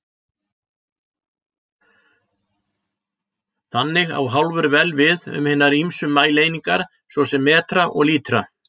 Þannig á hálfur vel við um hinar ýmsu mælieiningar, svo sem metra og lítra.